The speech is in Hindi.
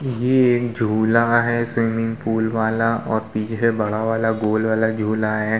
ये एक झूला है स्विमिंग पूल वाला और पीछे बड़ा वाला गोल वाला झूला है।